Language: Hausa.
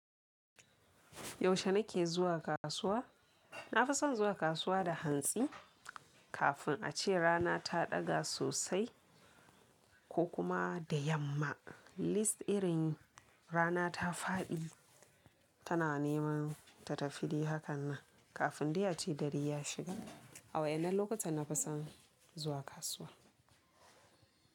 Yaushe na ke zuwa kasuwa? Na fi son zuwa kasuwa da hantsi kafin a ce rana ta ɗaga sosai ko kuma da yamma. At least irin rana ta faɗi tana neman ta tafi dai hakan nan kafin dai a ce dare ya shiga. A waɗannan lokuta na fi son zuwa kasuwa.